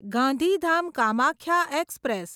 Gandhidham Kamakhya express